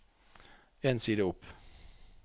En side opp